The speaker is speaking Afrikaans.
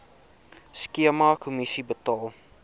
skema kommissie betaal